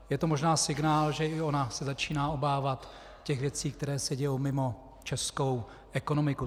Je to možná signál, že i ona se začíná obávat těch věcí, které se dějí mimo českou ekonomiku.